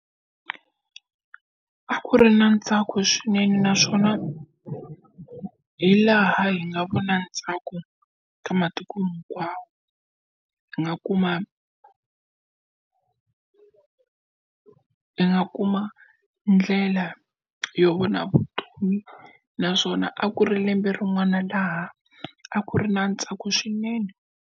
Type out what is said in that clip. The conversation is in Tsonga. A ku ri na ntsako swinene naswona hi laha hi nga vona ntsako ka matiko hinkwawo hi nga kuma hi nga kuma ndlela yo vona vutomi naswona a ku ri lembe rin'wana laha a ku ri na ntsako swinene.